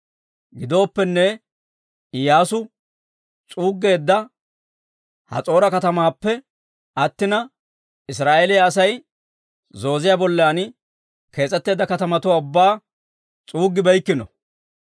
Gidooppenne, Iyyaasu s'uuggeedda Has'oora katamaappe attina, Israa'eeliyaa Asay zooziyaa bollan kees'etteedda katamatuwaa ubbaa s'uuggibeykkino.